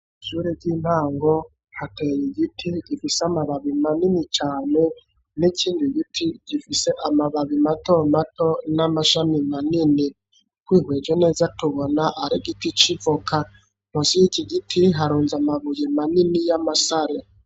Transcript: Ishure ry'intango hateye igiti gifise amababi manini cane, n'ikindi giti gifise amababi mato mato ,n'amashami manini twihweje neza tubona ari giti civoka nkusi y'iki giti harunze amabuye manini ,y'amasare.